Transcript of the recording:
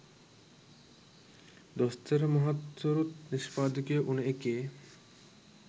දොස්තර මහත්තුරුත් නිෂ්පාදකයෝ වුණු එකේ